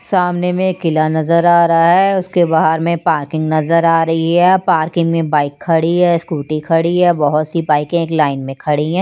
सामने में एक किला नजर आ रहा है उसके बाहर में पार्किंग नजर आ रही है पार्किंग में बाइक खड़ी है स्कूटी खड़ी है बहुत सी बाइकें एक लाइन में खड़ी हैं।